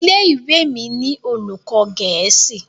ilé-ìwé mí ni olùkó gèésì.